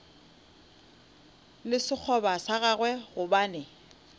le sekgoba sa gagwe gobane